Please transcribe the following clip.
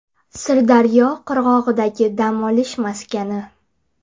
Sirdaryo qirg‘og‘idagi dam olish maskani.